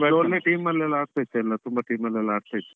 ಮೊದ್ಲು ಒಳ್ಳೆ team ಅಲ್ಲೆಲ್ಲ ಆಡ್ತಾ ಇದ್ದೆಎಲ್ಲ, ತುಂಬಾ team ಅಲ್ಲೆಲ್ಲ ಆಡ್ತಾ ಇದ್ದೆ.